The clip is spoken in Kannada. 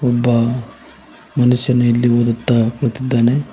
ಒಬ್ಬ ಮನುಷ್ಯನು ಇಲ್ಲಿ ಓದುತ್ತಾ ಕುಳಿತಿದ್ದಾನೆ.